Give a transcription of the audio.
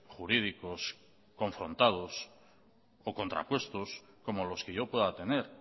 jurídicos confrontados o contrapuestos como los que yo pueda tener